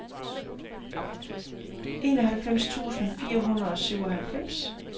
enoghalvfems tusind fire hundrede og syvoghalvfems